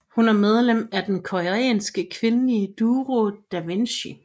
Hun er medlem af den koreanske kvindelige duo Davichi